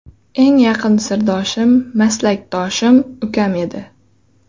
Eng yaqin sirdoshim, maslakdoshim ukam edi.